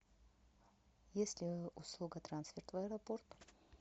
есть ли услуга трансфер в аэропорт